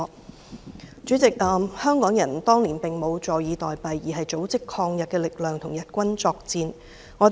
代理主席，香港人當年並無坐以待斃，反而組織抗日力量，與日軍作戰。